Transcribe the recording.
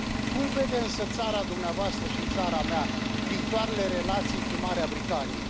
Cum vede însă țara dumneavoastră și țara mea viitoarele relații cu Marea Britanie?